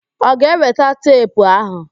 Ọ ga-eweta teepu áhụ̀?